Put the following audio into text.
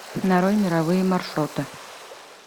нарой мировые маршруты